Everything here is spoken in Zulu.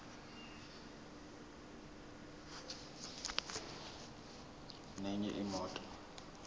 nenye imoto